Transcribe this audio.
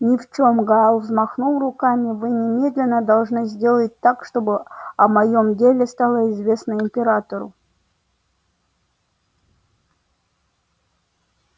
ни в чём гаал взмахнул руками вы немедленно должны сделать так чтобы о моём деле стало известно императору